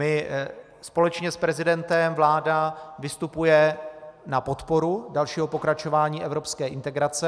My společně s prezidentem, vláda vystupuje na podporu dalšího pokračování evropské integrace.